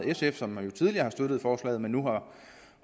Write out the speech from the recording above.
sf som jo tidligere har støttet forslaget men nu